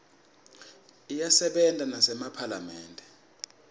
iyasebenta nasemaphalamende